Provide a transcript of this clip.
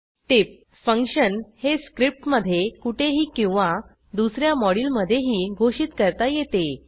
टीप function हे script मधे कुठेही किंवा दुस या moduleमधेही घोषित करता येते